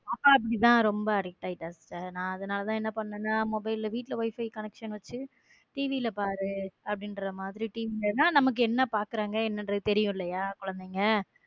பாப்பா அப்படித்தான் ரொம்ப addict ஆயிட்டா sister அதனாலதான் நான் என்ன பண்ணினா mobile வீட்ல wifi connection வச்சு TV ல பாரு அப்படிங்கற மாதிரி TV ல எல்லாம் நமக்கு என்ன பார்க்கிறாங்க என்னன்னு தெரியும் குழந்தைங்க.